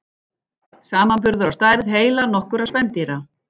Samanburður á stærð heila nokkurra spendýra.